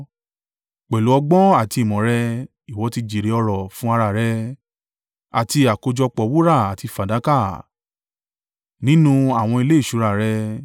Pẹ̀lú ọgbọ́n àti ìmọ̀ rẹ, ìwọ tí jèrè ọrọ̀ fún ara rẹ, àti àkójọpọ̀ wúrà àti fàdákà, nínú àwọn ilé ìṣúra rẹ.